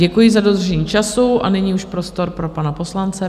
Děkuji za dodržení času a nyní už prostor pro pana poslance.